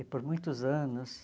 E por muitos anos...